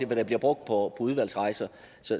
hvad der bliver brugt på udvalgsrejser